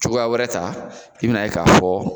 Cogoya wɛrɛ ta i bin'a ye k'a fɔ